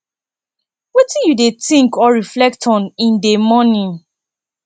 wetin you dey think or reflect on in dey morning